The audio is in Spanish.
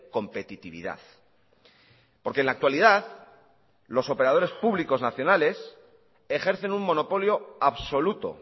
competitividad porque en la actualidad los operadores públicos nacionales ejercen un monopolio absoluto